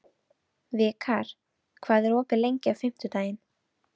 Vikar, hvað er opið lengi á fimmtudaginn?